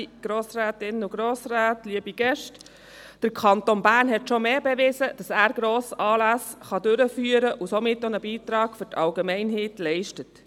Der Kanton Bern hat schon mehr bewiesen, dass er Grossanlässe durchführen kann und somit auch einen Beitrag für die Allgemeinheit leistet.